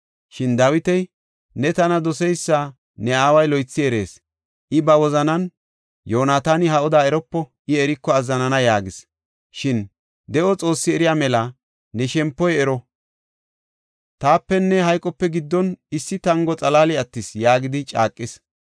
Shin Dawiti, “Ne tana doseysa ne aaway loythi erees. I ba wozanan, Yoonataani ha oda eropo; I eriko azzanana” yaagis. Shin, “De7o Xoossi eriya mela, ne shempoy ero; taapenne hayqope giddon issi tango xalaali attis” yaagidi caaqis.